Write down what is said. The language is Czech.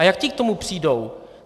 A jak ti k tomu přijdou?